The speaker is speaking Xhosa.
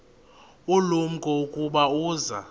ulumko ukuba uza